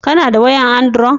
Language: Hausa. Ka na da wayan androd